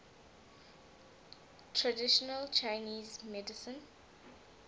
traditional chinese medicine